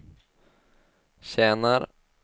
tjänar